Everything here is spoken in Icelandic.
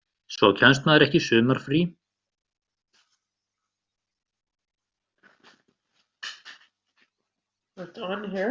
Svo kemst maður ekki í sumarfrí og svona, þetta er svolítil fórn.